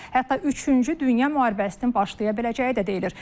Hətta üçüncü dünya müharibəsinin başlaya biləcəyi də deyilir.